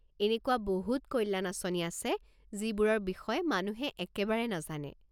এনেকুৱা বহুত কল্যাণ আঁচনি আছে যিবোৰৰ বিষয়ে মানুহে একেবাৰে নাজানে।